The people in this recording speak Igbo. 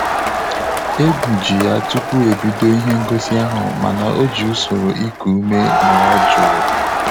Egwu ji ya tupu ebido ihe ngosi ahụ mana ọ ji usoro iku ume nọrọ jụụ